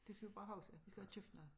Det skal vi bare huske vi skal have købt noget